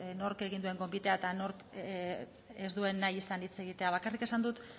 nork egin duen gonbitea eta nork ez duen nahi izan hitz egitea bakarrik esan dut